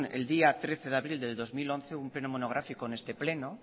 el día trece de abril de dos mil once un pleno monográfico en este pleno